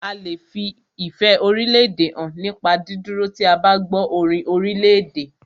A lè fi ìfẹ́ orílédè hàn nípa dídúró tí o bá gbọ́ orin orílèdè.